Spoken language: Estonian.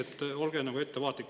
Nii et olge nagu ettevaatlik.